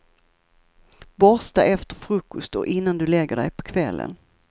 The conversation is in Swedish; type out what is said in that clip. Borsta efter frukost och innan du lägger dig på kvällen.